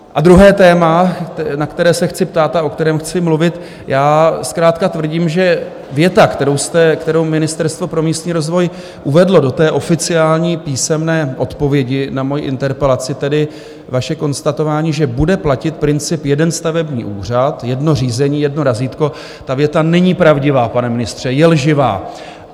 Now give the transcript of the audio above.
A druhé téma, na které se chci ptát a o kterém chci mluvit: zkrátka tvrdím, že věta, kterou Ministerstvo pro místní rozvoj uvedlo do té oficiální písemné odpovědi na moji interpelaci, tedy vaše konstatování, že bude platit princip "jeden stavební úřad, jedno řízení, jedno razítko", ta věta není pravdivá, pane ministře, je lživá.